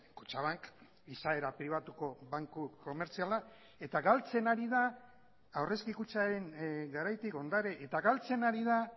kutxabank izaera pribatuko banku komertziala eta galtzen ari da aurrezki kutxaren garaitik ondare eta galtzen ari da